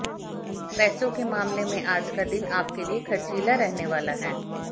पैसों के मामले में आज का दिन आपके लिए खर्चीला रहने वाला है